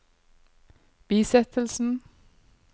bisettelsen